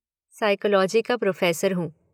Psychology का professor हूँ।